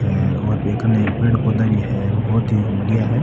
और भी कने पेड़ पौधा भी है बहुत ही बढ़िया है।